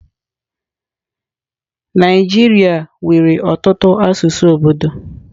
Naijiria nwere ọtụtụ asụsụ obodo.